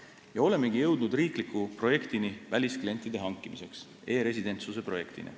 Ja olemegi jõudnud riikliku projektini välisklientide hankimiseks, e-residentsuse projektini.